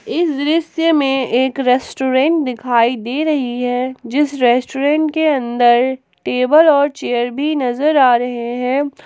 इस दृश्य में एक रेस्टोरेंट दिखाई दे रही है जिस रेस्टोरेंट के अंदर टेबल और चेयर भी नजर आ रहे हैं ।